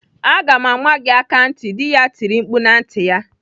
"Aga m ama gị aka ntị!" Dị ya tiri mkpu na ntị ya.